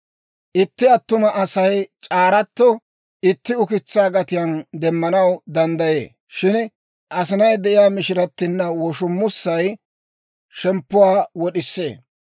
Itti attuma Asay c'aaratto itti ukitsaa gatiyaan demmanaw danddayee; shin asinay de'iyaa mishirattinna woshummussay shemppuwaa wod'isee.